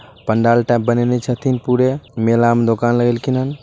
Pandal type बनएने छतीन पुरे मेला मे दुकान लगइलकी हन।